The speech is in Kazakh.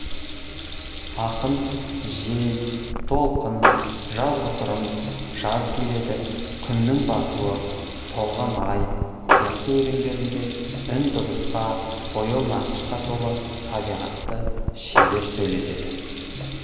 ақын жел толқын жазғытұрым жаз келеді күннің батуы толған ай сияқты өлеңдерінде үн дыбысқа бояу нақышқа толы табиғатты шебер сөйлетеді